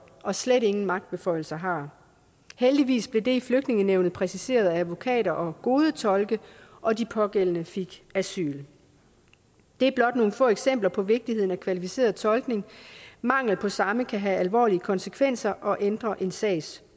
og slet ingen magtbeføjelser har heldigvis blev det i flygtningenævnet præciseret af advokater og gode tolke og de pågældende fik asyl det er blot nogle få eksempler på vigtigheden af kvalificeret tolkning mangel på samme kan have alvorlige konsekvenser og ændre en sags